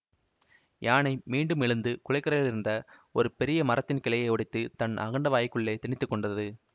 யானை மீண்டும் எழுந்து குளக்கரையிலிருந்த ஒரு பெரிய மரத்தின் கிளையை ஒடித்துத் தன் அகண்ட வாய்க்குள்ளே திணித்துக் கொண்டது